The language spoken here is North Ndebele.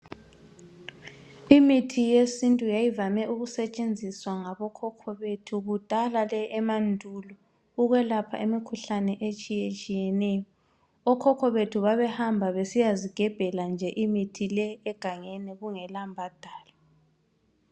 Imithi yesintu yayivame ukusetshenziswa ngokhokho bethu kudala le emandulo ukwelapha imikhuhlane etshiyatshiyeneyo. Okhokho bethu babehamba besiyezigebhela nje imithi le egangeni kungela mbhadalo.